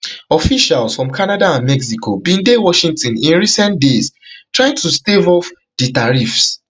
officials from canada and mexico bin dey washington in recent days trying to stave off di tariffs